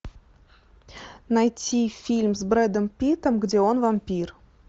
найти фильм с бредом питом где он вампир